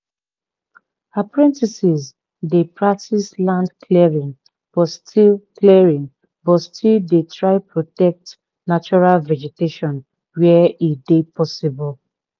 apprentices dey practice land clearing but still clearing but still dey try protect natural vegetation where e dey possible